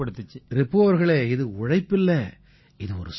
ரிபு அவர்களே இது உழைப்பில்லை இது ஒரு சாதனை